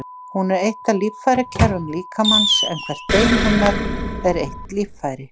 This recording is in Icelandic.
Hún er eitt af líffærakerfum líkamans, en hvert bein hennar er eitt líffæri.